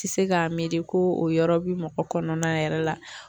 Tɛ se k'a miiri ko o yɔrɔ bi mɔgɔ kɔnɔna yɛrɛ la